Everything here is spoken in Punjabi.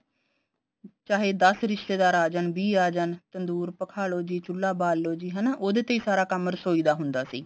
ਚਾਹੇ ਦੱਸ ਰਿਸ਼ਤੇਦਾਰ ਆ ਜਾਨ ਚਾਹੇ ਵੀਹ ਆ ਜਾਨ ਤੰਦੂਰ ਪਖਾਲੋ ਜੀ ਚੁੱਲਾ ਬਾਲ ਲੋ ਜੀ ਹਨਾ ਉਹਦੇ ਤੇ ਹੀ ਸਾਰਾ ਕੰਮ ਰਸੋਈ ਦਾ ਹੁੰਦਾ ਸੀ